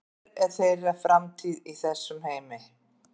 Hver er þeirra framtíð í þessum heimi?